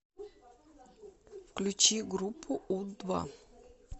включи группу у два